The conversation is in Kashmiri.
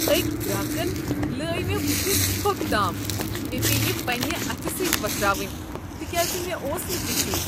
أکہِ گراکن لٲے مےٚ بٕتھِس تھۄكھ تام۔ مےٚ پیٚیہ یہِ پنٛنہِ اتھہٕ سٕتۍ وۄتھراوٕنۍ تکیاز مےٚ اوس نہٕ ٹشو۔